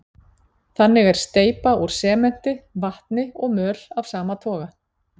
Þannig er steypa úr sementi, vatni og möl af sama toga.